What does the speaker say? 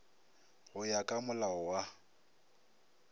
go ya ka molao wa